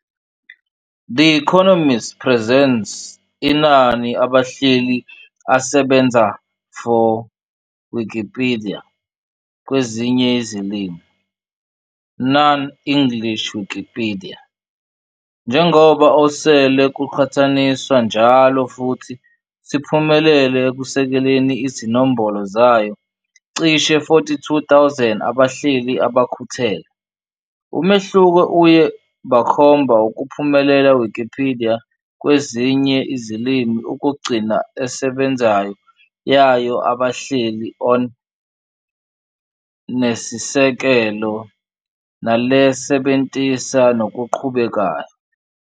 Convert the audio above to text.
The Economist presents inani abahleli asebenzayo for Wikipedia kwezinye izilimi, non-English Wikipedia, njengoba osele kuqhathaniswa njalo futhi siphumelele ekusekeleni izinombolo zayo cishe 42,000 abahleli abakhuthele, umehluko uye bakhomba ukuphumelela Wikipedia kwezinye izilimi ukugcina esebenzayo yayo abahleli on nesisekelo nalesebentisa nokuqhubekayo.